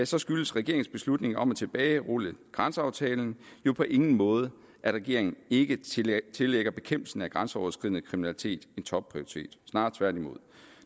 så skyldes regeringens beslutning om at tilbagerulle grænseaftalen jo på ingen måde at regeringen ikke tillægger tillægger bekæmpelsen af grænseoverskridende kriminalitet en topprioritet snarere tværtimod